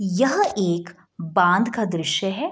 यह एक बांध का दृश्य है।